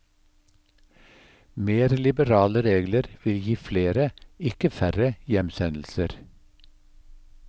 Mer liberale regler vil gi flere, ikke færre hjemsendelser.